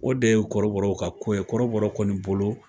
O de ye kɔrɔbɔrɔw ka ko ye, kɔrɔbɔrɔw kɔni bolo